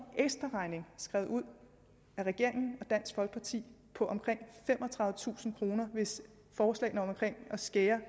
ekstraregning skrevet ud af regeringen og dansk folkeparti på omkring femogtredivetusind kr hvis forslagene om at skære